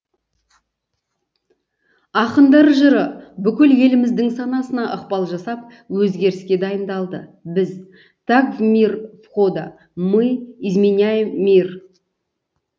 ақындар жыры бүкіл еліміздің санасына ықпал жасап өзгеріске дайындалды біз так в мир входа мы изменяем мир